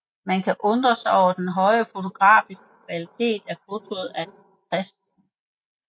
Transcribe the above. Man kan undre sig over den høje fotografiske kvalitet af fotoet af Chr